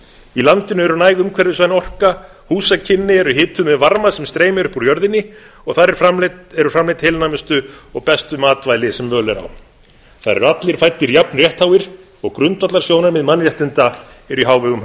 í landinu er næg umhverfisvæn orka húsakynni eru hituð með varma sem streymir upp úr jörðinni og þar eru framleidd heilnæmustu og bestu matvæli sem völ er á þar eru allir fæddir jafn réttháir og grundvallarsjónarmið mannréttinda eru í hávegum